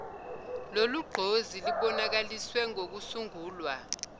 lolugqozi lubonakaliswe ngokusungulwa